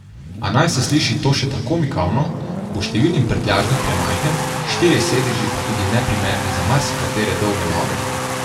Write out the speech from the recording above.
A naj se sliši to še tako mikavno, bo številnim prtljažnik premajhen, štirje sedeži pa tudi neprimerni za marsikatere dolge noge.